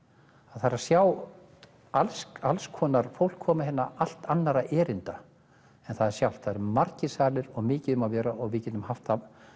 að sjá alls alls konar fólk koma hingað allt annarra erinda margir salir og mikið um að vera og við getum haft